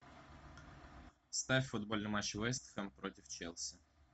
ставь футбольный матч вест хэм против челси